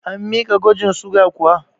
An miki gwajin suga kuwa?